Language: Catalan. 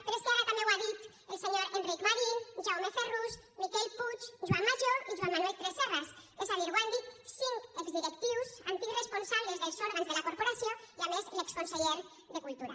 però és que ara també ho han dit el senyor enric marín jaume ferrús miquel puig joan majó i joan manuel tresserras és a dir ho han dit cinc exdirectius antics responsables dels òrgans de la corporació i a més l’exconseller de cultura